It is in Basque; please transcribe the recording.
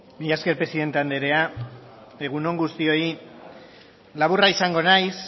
mila esker presidente andrea egun on guztioi